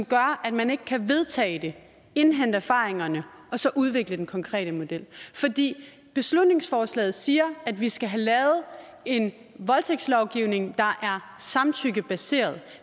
gør at man ikke kan vedtage det indhente erfaringerne og så udvikle den konkrete model beslutningsforslaget siger at vi skal have lavet en voldtægtslovgivning der er samtykkebaseret